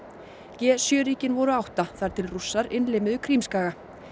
g sjö ríkin voru átta þar til Rússar innlimuðu Krímskaga